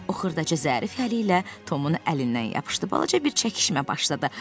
O xırdaca zərif əli ilə Tomun əlindən yapışdı, balaca bir çəkişmə başladı.